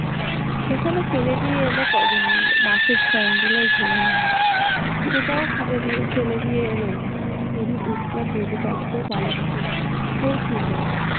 সেখানে ফেলে দিয়ে এল কজন মিলে, বাঁশের চেংদোলা ঝোলানো হল, সেটাও ফেলে দিয়ে এল ওরা যদি উজ্জল ।